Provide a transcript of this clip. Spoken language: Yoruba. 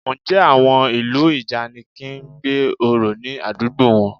Ǹjẹ́ àwọn ìlú ìjànikin ń gbé orò ní àdúgbò wọn?